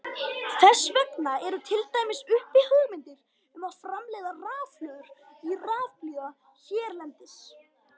Þess vegna eru til dæmis uppi hugmyndir um að framleiða rafhlöður í rafbíla hérlendis.